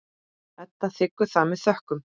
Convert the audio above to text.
Edda þiggur það með þökkum.